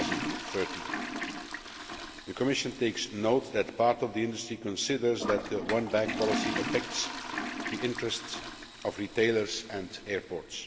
2013. The Commission takes note that part of the industry considers that the one bag policy respects the interests of retailers and airports.